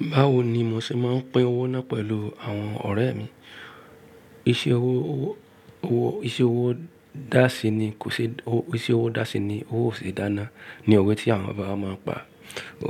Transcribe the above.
Báwo ni mo ṣe máa ń pín owó náà pẹ̀lú àwọn ọ̀rẹ́ mi? Iṣẹ́ owó, owó, iṣẹ́ owó dàsí ni kò ṣe, iṣẹ́ owó dàsí ni owó ò ṣe dáná ni òwe tí àwọn bàbá máa ń pa.